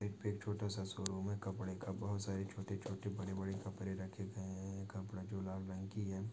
यहापे एक छोटासा शोरूम है कपडेका बहोत सारी छोटे छोटे बड़े बड़े कपड़े रखे गए है। कपड़ा जो लाल रंग की है।